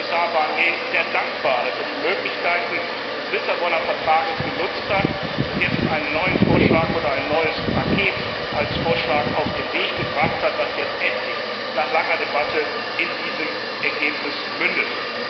Und ich bin Kommissar Barnier sehr dankbar, dass er die Möglichkeiten des Lissabonner Vertrags genutzt hat und jetzt einen neuen Vorschlag oder ein neues Paket als Vorschlag auf den Weg gebracht hat, das jetzt endlich nach langer Debatte in diesem Ergebnis mündet.